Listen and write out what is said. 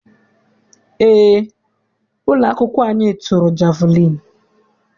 Eé, ụlọakwụkwọ anyị tụrụ jeviliini.